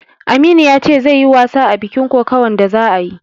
Aminu ya ce zai yi wasa a bikin kokawan da za'ayi